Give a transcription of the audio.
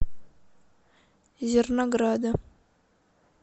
зернограда